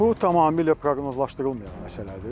Bu tamamilə proqnozlaşdırılmayan məsələdir.